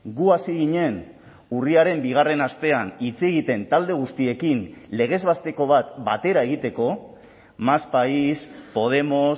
gu hasi ginen urriaren bigarren astean hitz egiten talde guztiekin legez besteko bat batera egiteko más país podemos